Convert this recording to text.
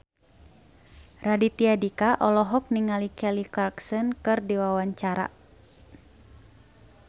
Raditya Dika olohok ningali Kelly Clarkson keur diwawancara